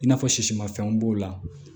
I n'a fɔ sisimafɛnw b'o la